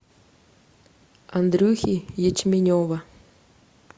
андрюхи ячменева